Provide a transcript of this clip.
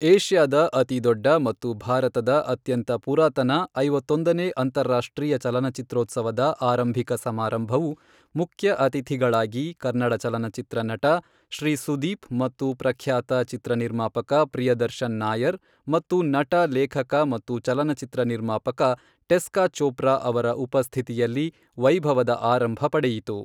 ಏಷ್ಯಾದ ಅತಿದೊಡ್ಡ ಮತ್ತು ಭಾರತದ ಅತ್ಯಂತ ಪುರಾತನ ಐವತ್ತೊಂದನೇ ಅಂತಾರಾಷ್ಟ್ರೀಯ ಚಲನಚಿತ್ರೋತ್ಸವದ ಆರಂಭಿಕ ಸಮಾರಂಭವು, ಮುಖ್ಯ ಅತಿಥಿಗಳಾಗಿ, ಕನ್ನಡ ಚಲನಚಿತ್ರನಟ ಶ್ರೀ ಸುದೀಪ್ ಮತ್ತು ಪ್ರಖ್ಯಾತ ಚಿತ್ರ ನಿರ್ಮಾಪಕ ಪ್ರಿಯದರ್ಶನ್ ನಾಯರ್ ಮತ್ತು ನಟ, ಲೇಖಕ ಮತ್ತು ಚಲನಚಿತ್ರ ನಿರ್ಮಾಪಕ ಟೆಸ್ಕಾ ಚೋಪ್ರಾ ಅವರ ಉಪಸ್ಥಿತಿಯಲ್ಲಿ ವೈಭವದ ಆರಂಭ ಪಡೆಯಿತು.